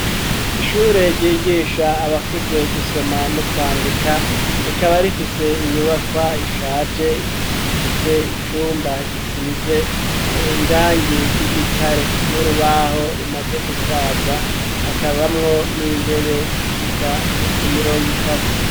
Ishure ryigisha abakuze gusoma no kwandika rikaba rifise inyubakwa ishaje ifise icumba gisize irangi ry'igitare n'urubaho rumaze gusaza hakabamwo n'intebe zishika nko ku mirongo itatu.